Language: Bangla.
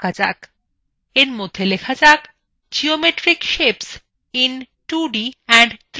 এর মধ্যে লেখা যাক geometric shapes in 2d and 3d